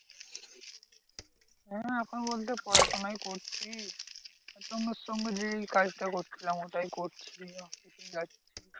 হ্যাঁ এখন বলতে পড়াশোনাই করছি। ওর সঙ্গে যেই কাজটা করছিলাম ওটাই করছি অফিসে যাচ্ছি।